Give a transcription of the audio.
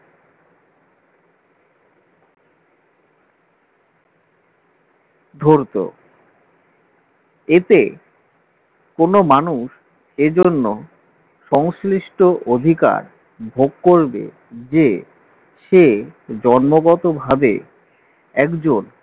ধরতো এতে কোন মানুষ এজন্য সংশ্লিষ্ট অধিকার ভোগ করবে যে সে জন্মগতভাবে একজন